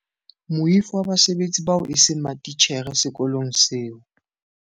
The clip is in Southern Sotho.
Moifo wa basebetsi bao eseng matitjhere sekolong seo.